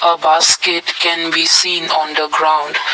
a basket can be seen on the ground.